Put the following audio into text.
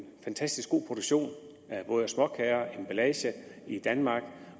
fantastisk god produktion af både småkager og emballage i danmark